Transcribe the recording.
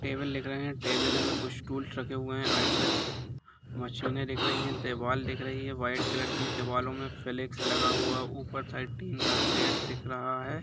Table लिख रहे है टेबल में कुछ स्टूल्स रखे हुए है राइटसाइड मशीने दिख रही है देवाल दिख रही है वाइट कलर की दीवालो में फ्लेक्स लगा हुआ है ऊपर साइड टिन का शेड दिख रहा है।